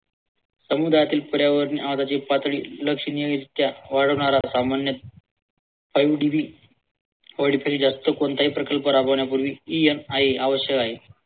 आवश्यक आहे.